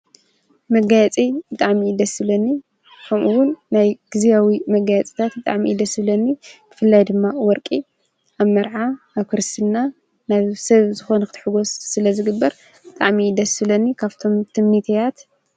መጋያጺ ብጣዕሚ እዩ ደስ ዝብለኒ ኸምኡውን ናይ ጊዜያዊ መጋያፅታት እዩ ብጣዕሚ እዩ ደስ ዝብለኒ ፍላይ ድማ ወርቂ ኣብ መርዓ ኣብ ክርስትና ናብ ሰብ ዝኾነ ኽትሕጐስ ስለ ዝግበር ብጣዕሚ እዩ ደስ ዝብለኒ ካፍቶም ትምኒተያት፡3